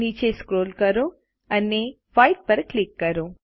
નીચે સ્ક્રોલ કરો અને વ્હાઇટ પર ક્લિક કરો